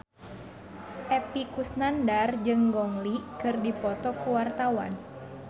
Epy Kusnandar jeung Gong Li keur dipoto ku wartawan